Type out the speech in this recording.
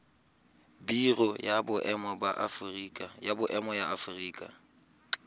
biro ya boemo ya aforika